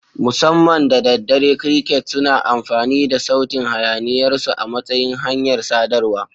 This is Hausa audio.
Musamman da daddare, crickets suna amfani da sautin hayaniyarsu a matsayin hanyar sadarwa.